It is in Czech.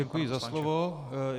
Děkuji za slovo.